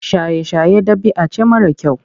Shaye-shaye ɗabi'a ce mara kyau.